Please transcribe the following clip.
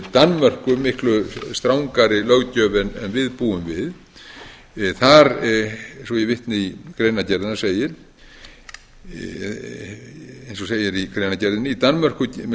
danmörku miklu strangari löggjöf en við búum við þar svo ég vitni í greinargerðina segir eins og segir í greinargerðinni með